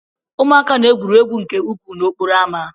Ụmụaka na-egwuri egwu nke ukwuu n'okporo ámá.